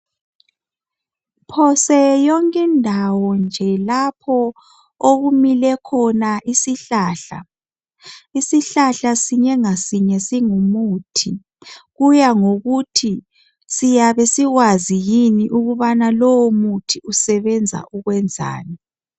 Phose yonke Indawo nje lapho okumile khona isihlahla Isihlahla sinye ngasinye singumuthi Kuyangokuthi siyabe sikwazi yini ukubana lowo muthi usebenza ukwenzani